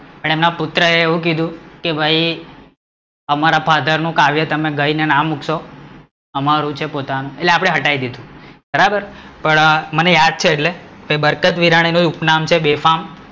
પણ એમના પુત્ર એ એવું કીધું કે ભઈ અમારા ફાધર નું કાવ્ય તમે ગાયી ને ના મુકશો અમારું છે પોતાનું એટલે આપડે હટાવી દીધું, બરાબર પણ મને યાદ છે એટલે કબરકતવિરાની નું ઉપનામ છે બેફામ